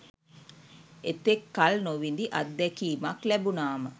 එතෙක් කල් නොවිඳි අත්දැකීමක් ලැබුණාම